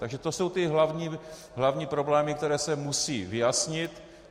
Takže to jsou ty hlavní problémy, které se musí vyjasnit.